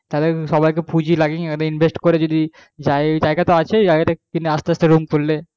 তাহলে সবাই কে পুঁজি লাগিন invest করে যদি জায়গা তো আছে জায়গা তা কনে আস্তে আস্তে room খুললে